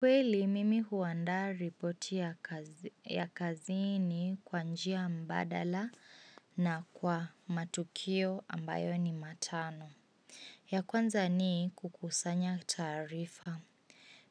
Kweli, mimi huandaa ripoti ya kazini kwa njia mbadala na kwa matukio ambayo ni matano. Ya kwanza ni kukusanya taarifa.